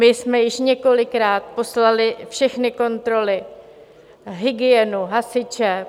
My jsme již několikrát poslali všechny kontroly, hygienu, hasiče...